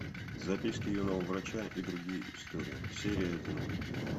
записки юного врача и другие истории серия один